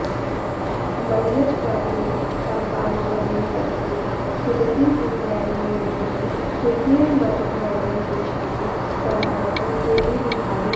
मलयजपवने कम्पानुवने वसति सुदति पुरवैरी युवतिहृदयमदमर्दनकुशली सम्भृत केलिविहारी